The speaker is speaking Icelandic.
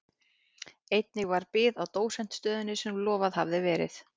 Einnig varð bið á dósentsstöðunni sem lofað hafði verið.